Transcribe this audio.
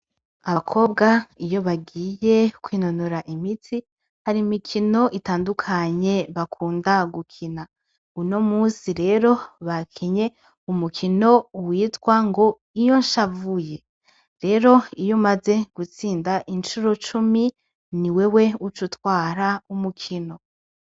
Abakobwa iyo bagiye kwinonora imitsi hari imikono itandukanye bakunda gukina. Uno musi rero bakinye umukino witwa ngo iyo nshavuye. Rero iyo umaze gutsinda incuro cumi ni wewe uca utwara umukino.